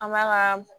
An b'a ka